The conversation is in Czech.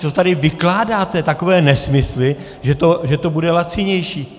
Co tady vykládáte takové nesmysly, že to bude lacinější?